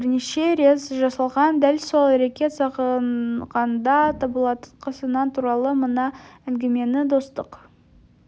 бірнеше рет жасалған дәл сол әрекет сағынғанда табылатын қасыңнан туралы мына әңгімені достық